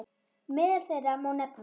Meðal þeirra má nefna